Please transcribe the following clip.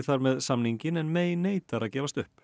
þar með samninginn en neitar að gefast upp